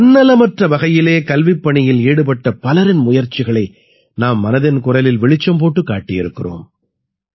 தன்னலமற்ற வகையிலே கல்விப்பணியில் ஈடுபட்ட பலரின் முயற்சிகளை நாம் மனதின் குரலில் வெளிச்சம் போட்டுக் காட்டியிருக்கிறோம்